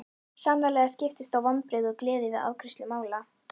Sannarlega skiptust á vonbrigði og gleði við afgreiðslu mála.